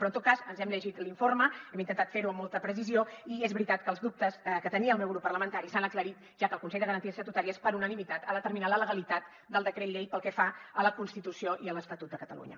però en tot cas ens hem llegit l’informe hem intentat ferho amb molta precisió i és veritat que els dubtes que tenia el meu grup parlamentari s’han aclarit ja que el consell de garanties estatutàries per unanimitat ha determinat la legalitat del decret llei pel que fa a la constitució i a l’estatut de catalunya